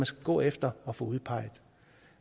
skal gå efter at få udpeget